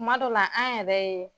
Kuma dɔ la, an yɛrɛ ye